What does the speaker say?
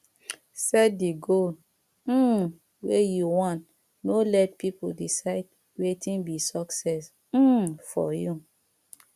set di goal um wey you want no let pipo decide wetin be success um for you